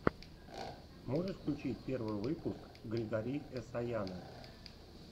можешь включить первый выпуск григори эсаяна